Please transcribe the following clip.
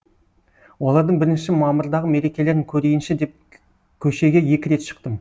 олардың бірінші мамырдағы мерекелерін көрейінші деп көшеге екі рет шықтым